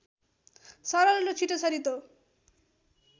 सरल र छिटो छरितो